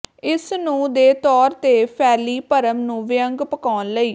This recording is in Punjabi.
ਇਸ ਨੂੰ ਦੇ ਤੌਰ ਤੇ ਫੈਲੀ ਭਰਮ ਨੂੰ ਵਿਅੰਗ ਪਕਾਉਣ ਲਈ